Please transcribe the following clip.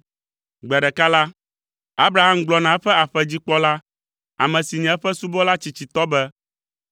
Gbe ɖeka la, Abraham gblɔ na eƒe aƒedzikpɔla, ame si nye eƒe subɔla tsitsitɔ be,